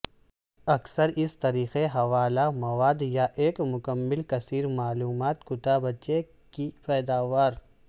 اکثر اس طریقے حوالہ مواد یا ایک مکمل کثیر معلومات کتابچے کی پیداوار